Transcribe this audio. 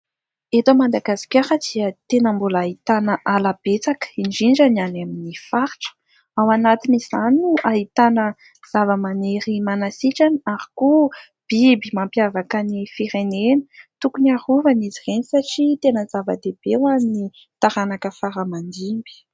Eto Madagasikara dia tena mbola ahitana ala betsaka indrindra ny any amin'ny faritra. Ao anatin'izany no ahitana zava-maniry manasitrana ary koa biby mampiavaka ny firenena. Tokony arovana izy ireny satria tena zava-dehibe eo amin'ny taranaka fara-mandimby.